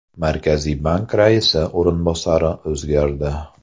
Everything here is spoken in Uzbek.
Markaziy bank raisi o‘rinbosari o‘zgardi.